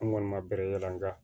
An kɔni ma bɛrɛ yala nga